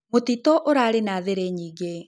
Mũtĩtũ ũrarĩ na thĩrĩ nyĩngĩ.